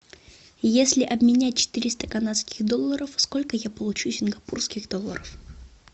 если обменять четыреста канадских долларов сколько я получу сингапурских долларов